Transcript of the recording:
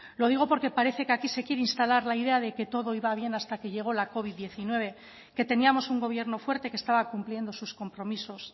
lo digo porque parece que aquí se quiere instalar la idea de que todo iba bien hasta que llegó la covid diecinueve que teníamos un gobierno fuerte que estaba cumpliendo sus compromisos